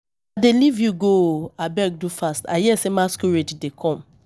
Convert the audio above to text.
I dey leave you go ooo. Abeg do fast, I hear say masquerade dey come.